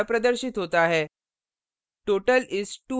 output इस तरह प्रदर्शित होता है